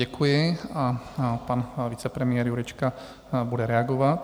Děkuji a pan vicepremiér Jurečka bude reagovat.